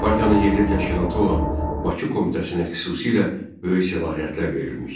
Partiyanın yerli təşkilatı olan Bakı komitəsinə xüsusilə böyük səlahiyyətlər verilmişdi.